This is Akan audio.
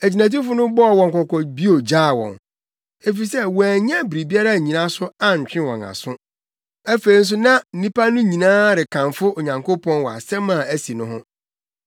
Agyinatufo no bɔɔ wɔn kɔkɔ bio gyaa wɔn, efisɛ wɔannya biribiara annyina so antwe wɔn aso; afei nso na nnipa no nyinaa rekamfo Onyankopɔn wɔ asɛm a asi no ho.